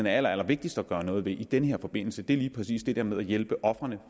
er allerallervigtigst at gøre noget ved i den her forbindelse er lige præcis det der med at hjælpe ofrene